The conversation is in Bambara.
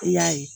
I y'a ye